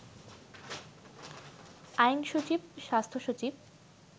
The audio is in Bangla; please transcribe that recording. আইনসচিব, স্বাস্থ্যসচিব